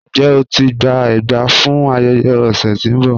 Njẹ́ o ti gbà ègbà fún ayéyẹ ọsẹ tí n bọ?